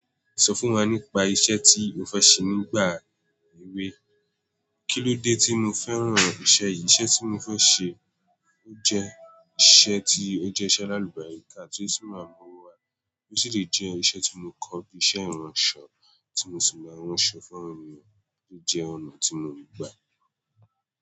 Sọ fún wa nípa iṣẹ́ tí o fẹ́ ṣe nígbà èwe. Kí ló dé tí mo fẹ́ran iṣẹ́ yìí? Iṣẹ́ tí mo fẹ́ ṣe ó jẹ́ iṣẹ́ tí ó jẹ́ iṣẹ́ aláàlúbàáríká tí ó sì máa mu owo wa bí ó sì lè jẹ́ iṣẹ́ tí mo kọ́ bí iṣẹ́ ìránṣọ̀ tí mo sì máa ránṣọ fún àwọn ènìyàn ló jẹ́ ọ̀nà tí mo ń gbà.